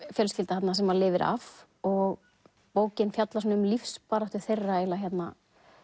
fjölskylda þarna sem að lifir af og bókin fjallar um lífsbaráttu þeirra hérna